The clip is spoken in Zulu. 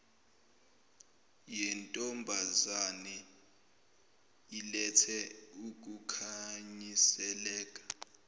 yentombazane ilethe ukukhanyiseleka